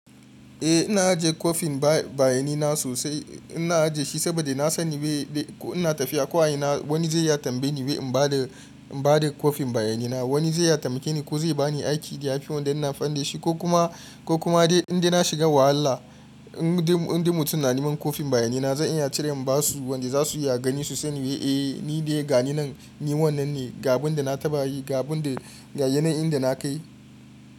Eh ina ajiye kwafin bayani na sosai. Ina ajiye shi saboda na sani bai dai ko ina tafiya ko a ina wani zai ya tambaye ni bai in bada, in bada kwafin bayani na. Wani zai ya tamke ni ko zai ba ni aiki da ya fi wanda ina amfani daahi shi ko kuma, ko kuma dai idan na shiga wahala in dai, in dai mutum ya nemi kwafin bayani na zan iya cire in basu wanda za su iya gani su sani wia eh ni de gani nan, ni wannan ne. Ga abin da na tabayi, ga abun da, ga yanayin inda na kai.